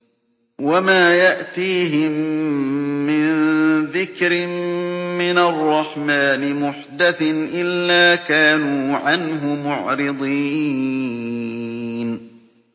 وَمَا يَأْتِيهِم مِّن ذِكْرٍ مِّنَ الرَّحْمَٰنِ مُحْدَثٍ إِلَّا كَانُوا عَنْهُ مُعْرِضِينَ